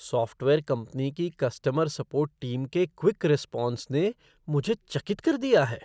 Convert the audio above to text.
Software company की customer support team के quick response ने मुझे चकित कर दिया है।